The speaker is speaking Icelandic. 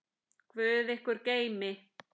Guð ykkur geymi.